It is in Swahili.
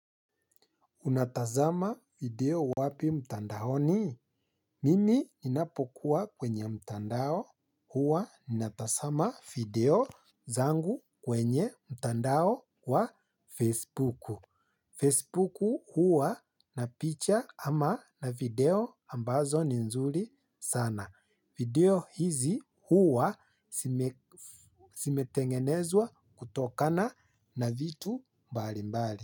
Unatazama video wapi mtandaoni? Mimi ninapokuwa kwenye mtandao hua. Ninatazama video zangu kwenye mtandao wa Facebook. Facebook hua na picha ama na video ambazo ni nzuri sana. Video hizi hua simetengenezwa kutokana na vitu mbali mbali.